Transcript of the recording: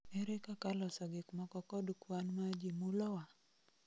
Ere kaka loso gikmoko kod kwan ma ji mulowa?